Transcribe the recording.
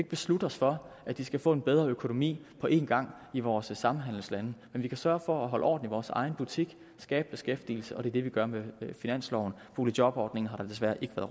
beslutte os for at de skal få en bedre økonomi på én gang i vores samhandelslande men vi kan sørge for at holde orden i vores egen butik at skabe beskæftigelse det er det vi gør med finansloven boligjobordningen har der desværre ikke